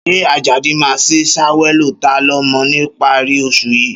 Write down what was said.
Ṣé Àjàdí máa sì ṣàyẹ̀wò ta-ń-lọmọ níparí oṣù yìí?